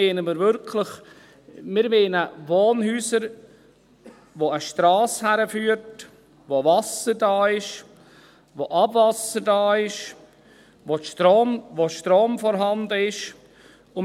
Dabei meinen wir wirklich Wohnhäuser, zu denen eine Strasse führt, wo Wasser, Abwasser und Strom vorhanden sind.